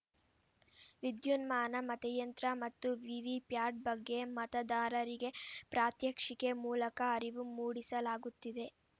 ವಿದ್ಯುನ್ಮಾನ ಮತಯಂತ್ರ ಮತ್ತು ವಿವಿಪ್ಯಾಟ್‌ ಬಗ್ಗೆ ಮತದಾರರಿಗೆ ಪ್ರಾತ್ಯಕ್ಷಿಕೆ ಮೂಲಕ ಅರಿವು ಮೂಡಿಸಲಾಗುತ್ತಿದೆ